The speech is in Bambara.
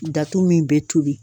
Datu min be tobi